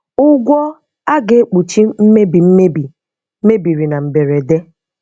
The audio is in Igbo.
Ụgwọ a ga-ekpuchi mmebi mmebi mebiri na mberede.